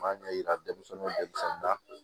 M'a ɲɛ yira denmisɛnninw denmisɛnninda